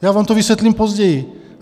Já vám to vysvětlím později.